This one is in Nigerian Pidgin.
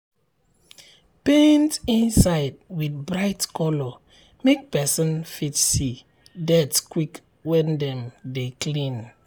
paint inside with bright colour make person fit see um dirt quick when dem dey clean.